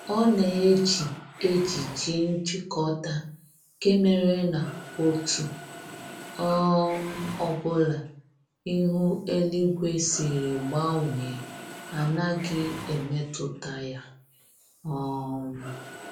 Ọ na-eji ejiji njikọta, nke mere na otu um ọbụla ihu eluigwe siri gbanwee anaghị emetụta ya um